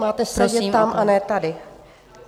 Máte sedět tam a ne tady.